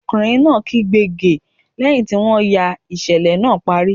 Ọkùnrin náà kígbe "ge" lẹ́hìn tí wọ́n ya ìṣẹ̀lẹ̀ náà parí.